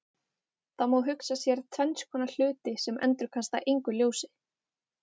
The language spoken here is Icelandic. Það má hugsa sér tvenns konar hluti sem endurkasta engu ljósi.